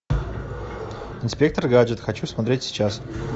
инспектор гаджет хочу смотреть сейчас